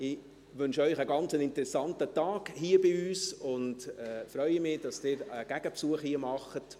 – Ich wünsche Ihnen einen interessanten Tag hier bei uns und freue mich, dass Sie einen Gegenbesuch machen.